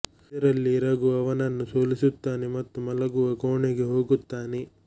ಇದರಲ್ಲಿ ರಘು ಅವನನ್ನು ಸೋಲಿಸುತ್ತಾನೆ ಮತ್ತು ಮಲಗುವ ಕೋಣೆಗೆ ಹೋಗುತ್ತಾನೆ